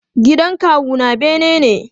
Gidan kawu na bene ne.